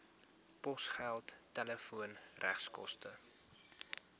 posgeld telefoon regskoste